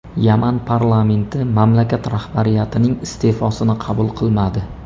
Yaman parlamenti mamlakat rahbariyatining iste’fosini qabul qilmadi.